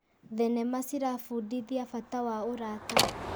Thenema ciratũbundithia bata wa ũrata.